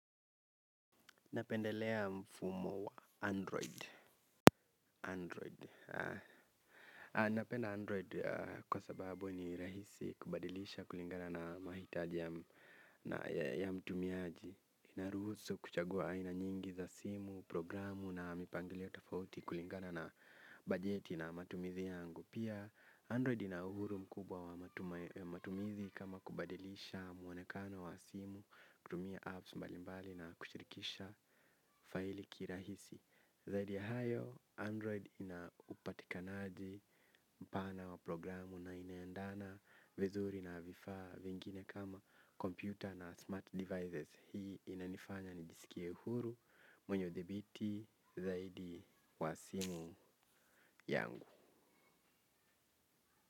Napendelea mfumo wa Android. Android. Napenda Android kwa sababu ni rahisi kubadilisha kulingana na mahitaji ya mtumiaji. Inaruhusu kuchagua aina nyingi za simu, programu na mipangilio tafauti kulingana na bajeti na matumizi yangu. Pia Android ina uhuru mkubwa wa matumizi kama kubadilisha mwonekano wa simu, kutumia apps mbalimbali na kushirikisha faili kirahisi. Zaidi ya hayo, Android ina upatikanaji mpana wa programu na inaendana vizuri na vifaa vingine kama computer na smart devices. Hii inanifanya nijisikie huru mwenye udhibiti zaidi wa simu yangu.